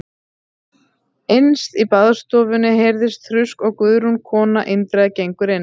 Innst í baðstofunni heyrist þrusk og Guðrún kona Indriða gengur til